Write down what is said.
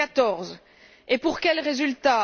2014. Et pour quel résultat?